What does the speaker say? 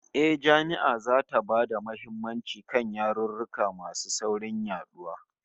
Eh, Jami'ar zata ba da muhimmanci kan yarurruka masu saurin yaduwa